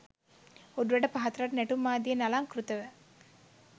උඩරට පහතරට නැටුම් ආදියෙන් අලංකෘතව